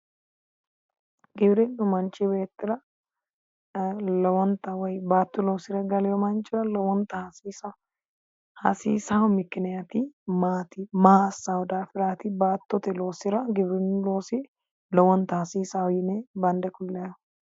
GIwirinu manchi beettira lowontanni baatto loosire gallino manchira lowontanni hasiisano hasiisayo mikinati maati, maa assano daafirati, baattote loosira giwirinu loosi lowonta hasiisano yinne bande kulannihu.